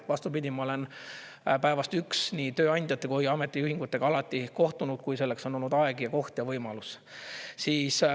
Vastupidi, ma olen päevast üks nii tööandjate kui ametiühingutega alati kohtunud, kui selleks on olnud aeg ja koht ja võimalus.